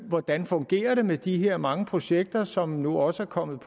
hvordan fungerer det med de her mange projekter som nu også er kommet